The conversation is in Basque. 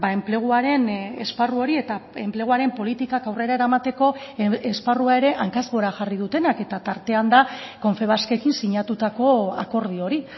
enpleguaren esparru hori eta enpleguaren politikak aurrera eramateko esparrua ere hankaz gora jarri dutenak eta tartean da confebaskekin sinatutako akordio hori